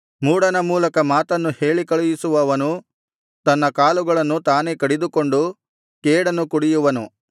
ಮೂಢನ ಮೂಲಕ ಮಾತನ್ನು ಹೇಳಿಕಳುಹಿಸುವವನು ತನ್ನ ಕಾಲುಗಳನ್ನು ತಾನೇ ಕಡಿದುಕೊಂಡು ಕೇಡನ್ನು ಕುಡಿಯುವನು